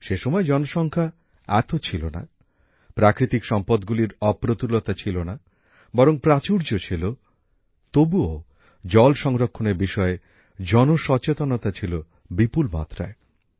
সে সময় জনসংখ্যা এত ছিল না প্রাকৃতিক সম্পদের অপ্রতুলতা ছিল না বরং প্রাচুর্য ছিল তবুও জল সংরক্ষণের বিষয়ে জন সচেতনতা ছিল বিপুল মাত্রায়